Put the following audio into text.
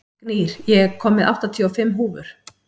Gnýr, ég kom með áttatíu og fimm húfur!